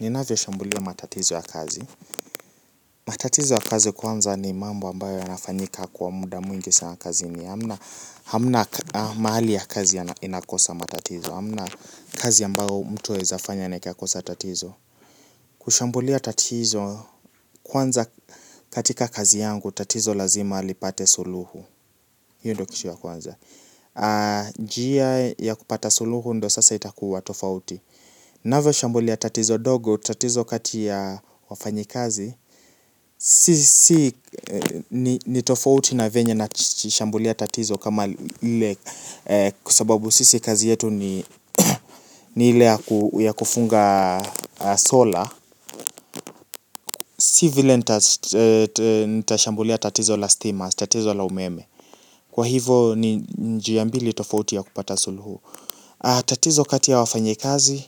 Ninavyo shambulia matatizo ya kazi. Matatizo ya kazi kwanza ni mambo ambayo yanafanyika kwa muda mwingi sana kazi ni. Hamna mahali ya kazi ya inakosa matatizo. Hamna kazi yambago mtu yawezafanya na ikakosa tatizo. Kushambulia tatizo kwanza katika kazi yangu tatizo lazima lipate suluhu. Hiyo ndo kitu ya kwanza. Jia ya kupata suluhu ndo sasa itakuwa tofauti. Nawe shambulia tatizo dogo, tatizo kati ya wafanyi kazi. Sisi ni tofauti na venye na shambulia tatizo kama ile. Kua sababu sisi kazi yetu ni ile ya kufunga sola. Si vile nitashambulia tatizo la steamers, tatizo la umeme. Kwa hivo ni njiya mbili tofauti ya kupata suluhu. Tatizo kati ya wafanyi kazi,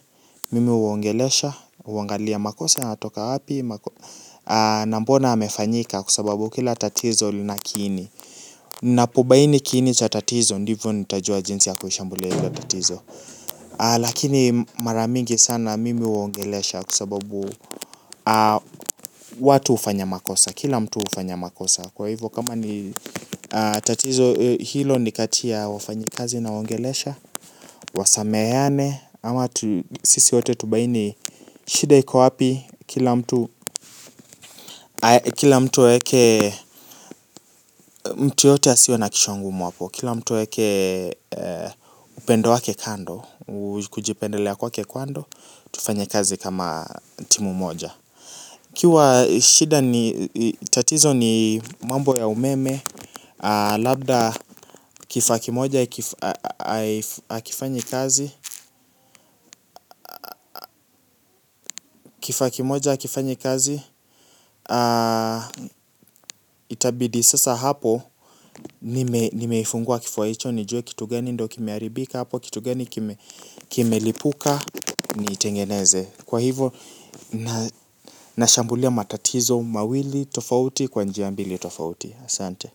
mimi uongelesha, uangalia makosa yanatoka api na mbona hamefanyika kuasababu kila tatizo lina kini napobaini kini cha tatizo ndivo nitajua jinsi ya kuhishambulia hilo tatizo lakini maramingi sana mimi uongelesha kua sababu watu ufanya makosa kila mtu ufanya makosa kwa hivo kama ni tatizo hilo nikatia wafanyikazi nawongelesha wasameyane ama sisi wote tubaini shida yuko wapi kila mtu. Kila mtu aweke mtu yoyoote asiwe na kichwa ngumu hapo. Kila mtu aweke upendo wake kando. Kujipendelea kwake kando. Tufanya kazi kama timu moja. Kiwa shida ni tatizo ni mambo ya umeme. Labda kifa kimoja akifanyi kazi. Kifakimoja akifanyi kazi. Itabidi sasa hapo. Nimeifungua kifuwa icho. Nijue kitu geni ndo kimearibika hapo kitu gani kime lipuka niitengeneze kwa hivo nashambulia matatizo mawili tofauti kwa njia mbili tofauti asante.